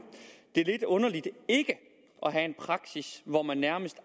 det er lidt underligt ikke at have en praksis hvor man nærmest